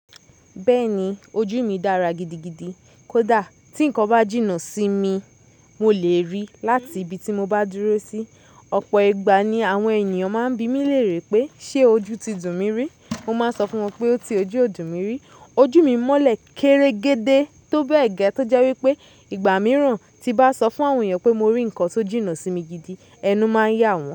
Bẹ́ẹ̀ni ojú mi dára gidigidi kódà tí ǹkan bá jìnnà sí mi, mo lè rí láti ibi tí mo bá dúró sí. Ọ̀pọ̀ ìgbà ni àwọn ènìyàn máa ń bi mí léèrè pé ṣé ojú ti dùn mi rí. Mo máa ń sọ fún wọn pé ó ti ojú ò dùn mi rí. Ojú mi mọ́lẹ̀ kere gẹdẹ tó bẹ́ẹ̀ gẹ́ tó jẹ́ wípé ìgbà mìíràn tí bá sọ fún àwọn èeyàn pé mo rí ǹkan tó jìnnà sí mi gidi, ẹnu máa ń yá wọn.